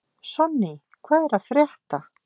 Sonný, hvað er að frétta?